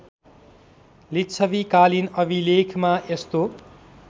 लिच्छवीकालीन अभिलेखमा यस्तो